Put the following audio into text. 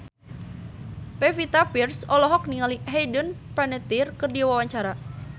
Pevita Pearce olohok ningali Hayden Panettiere keur diwawancara